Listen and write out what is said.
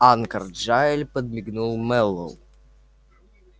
анкор джаэль подмигнул мэллоу